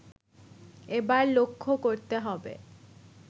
এবার লক্ষ্য করতে হবে